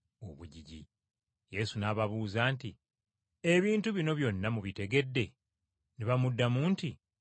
Yesu n’ababuuza nti, “Ebintu bino byonna mubitegedde?” Ne bamuddamu nti, “Weewaawo.”